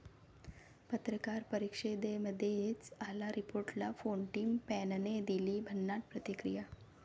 पत्रकार परिषदेमध्येच आला रिपोर्टरला फोन, टिम पेनने दिली भन्नाट प्रतिक्रिया